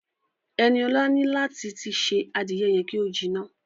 Ẹniọ̀la ní láti tí ṣé adìẹ yẹn ki o jiná.